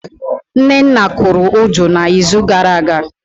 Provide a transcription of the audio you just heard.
Nnenna kụrụ Udu na izu gara aga